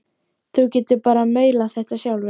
Þú getur bara maulað þetta sjálfur!